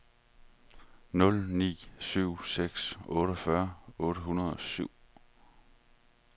nul ni syv seks otteogfyrre otte hundrede og syv